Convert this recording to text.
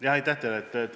Jah, aitäh teile!